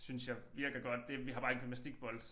Synes jeg virker godt det vi har bare en gymnastikbold